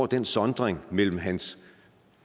den sondring mellem hans